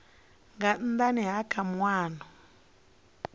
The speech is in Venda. nga nnda ha kha maimo